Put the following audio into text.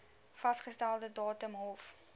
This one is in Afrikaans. vasgestelde datum hof